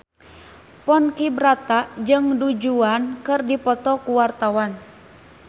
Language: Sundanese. Ponky Brata jeung Du Juan keur dipoto ku wartawan